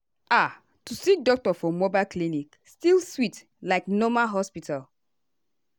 ah to see doctor for mobile clinic still sweet like normal hospital.